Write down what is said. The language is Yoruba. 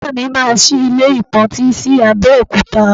Baba mi máa sí ilé ìpọntí sí Abẹ́òkúta